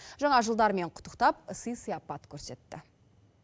жаңа жылдарымен құттықтап сый сыяпат көрсетті